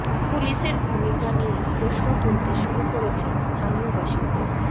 পুলিশের ভূমিকা নিয়েই প্রশ্ন তুলতে শুরু করেছেন স্থানীয় বাসিন্দারা